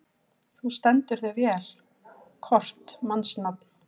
Þú stendur þig vel, Kort (mannsnafn)!